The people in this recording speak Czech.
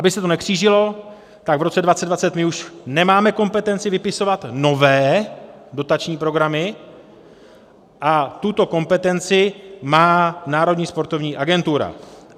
Aby se to nekřížilo, tak v roce 2020 my už nemáme kompetenci vypisovat nové dotační programy a tuto kompetenci má Národní sportovní agentura.